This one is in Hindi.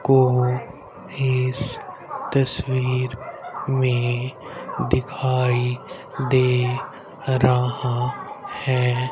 को इस तस्वीर में दिखाई दे रहा है।